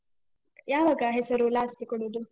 ಯಾವಾಗ ಹೆಸರು last ಕೊಡುದು?